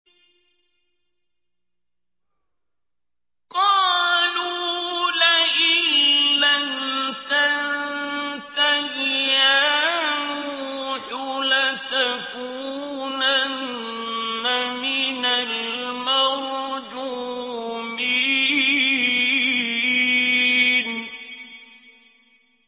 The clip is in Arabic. قَالُوا لَئِن لَّمْ تَنتَهِ يَا نُوحُ لَتَكُونَنَّ مِنَ الْمَرْجُومِينَ